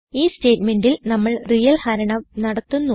ഈ സ്റ്റേറ്റ്മെന്റിൽ നമ്മൾ റിയൽ ഹരണം നടത്തുന്നു